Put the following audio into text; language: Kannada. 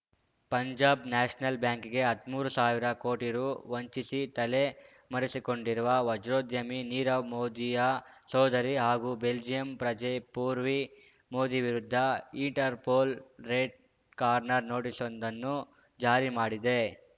ಪಂಜಾಬ್‌ ನ್ಯಾಷನಲ್‌ ಬ್ಯಾಂಕಿಗೆ ಹದ್ಮೂರು ಸಾವಿರ ಕೋಟಿ ರು ವಂಚಿಸಿ ತಲೆ ಮರೆಸಿಕೊಂಡಿರುವ ವಜ್ರೋದ್ಯಮಿ ನೀರವ್‌ ಮೋದಿಯ ಸೋದರಿ ಹಾಗೂ ಬೆಲ್ಜಿಯಂ ಪ್ರಜೆ ಪೂರ್ವಿ ಮೋದಿ ವಿರುದ್ಧ ಇಟರ್‌ಪೋಲ್‌ ರೆಡ್‌ ಕಾರ್ನರ್‌ ನೋಟಿಸ್‌ವೊಂದನ್ನು ಜಾರಿ ಮಾಡಿದೆ